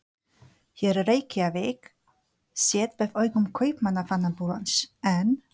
Hér er Reykjavík séð með augum Kaupmannahafnarbúans, en